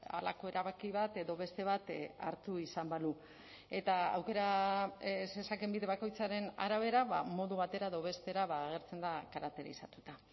halako erabaki bat edo beste bat hartu izan balu eta aukera zezakeen bide bakoitzaren arabera modu batera edo bestera agertzen da karakterizatuta